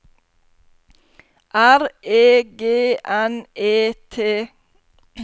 R E G N E T